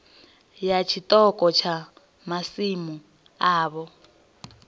ya tshiṱoko tsha masimu avho